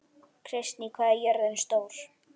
Kristný, hvað er jörðin stór?